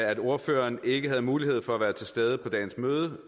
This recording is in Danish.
at ordføreren ikke havde mulighed for at være til stede ved dagens møde